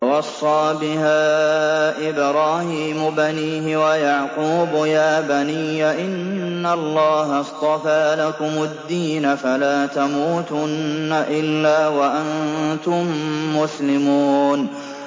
وَوَصَّىٰ بِهَا إِبْرَاهِيمُ بَنِيهِ وَيَعْقُوبُ يَا بَنِيَّ إِنَّ اللَّهَ اصْطَفَىٰ لَكُمُ الدِّينَ فَلَا تَمُوتُنَّ إِلَّا وَأَنتُم مُّسْلِمُونَ